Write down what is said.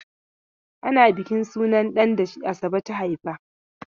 Ana bukin sunan ɗan da Asabe ta haifa.